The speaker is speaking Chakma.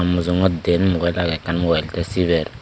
mujungot den mubile age ekkan mubile te siber.